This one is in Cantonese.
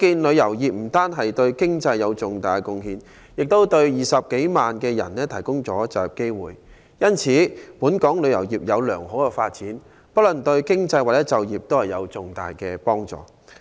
旅遊業不單對經濟有重大貢獻，亦為20多萬人提供了就業機會。因此，本港旅遊業有良好的發展，不論對經濟或就業都有重大的幫助。